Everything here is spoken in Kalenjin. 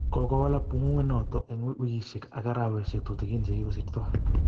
Kokowalak pung'ung'wet notok eng' wikishek ak arawek tutikin chekokosirto